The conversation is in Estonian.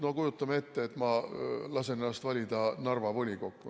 No kujutame ette, et ma lasen ennast valida Narva volikokku.